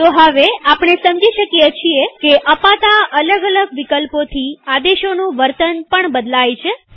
તો હવેઆપણે સમજી શકીએ છીએ કે અપાતા અલગ અલગ વિકલ્પોથી આદેશોનું વર્તન પણ બદલાય છે